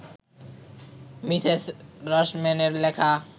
Mrs রসম্যানের লেখা